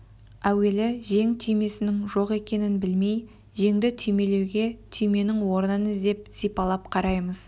әуелі жең түймесінің жоқ екенін білмей жеңді түймелеуге түйменің орнын іздеп сипалап қараймыз